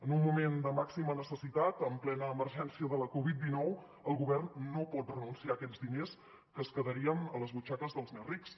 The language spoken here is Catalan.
en un moment de màxima necessitat en plena emergència de la covid dinou el govern no pot renunciar a aquests diners que es quedarien a les butxaques dels més rics